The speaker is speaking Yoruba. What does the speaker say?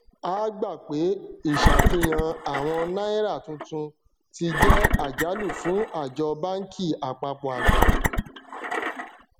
a gbà pé ìṣàfihàn àwọn náírà tuntun ti jẹ àjálù fún àjọ báńkì àpapọ àgbà